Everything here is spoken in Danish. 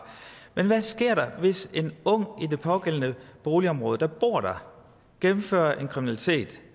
men hvad sker der hvis en ung i det pågældende boligområde der bor der gennemfører en kriminalitet